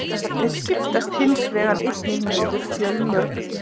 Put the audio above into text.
Þeir skiptast hins vegar einnig niður fjölmörg kyn.